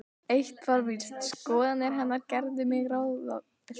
Eitt var víst: Skoðanir hennar gerðu mig ráðvillta.